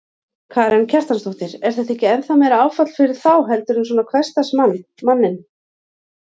Karen Kjartansdóttir: Er þetta ekki ennþá meira áfall fyrir þá heldur en svona hversdagsmann, manninn?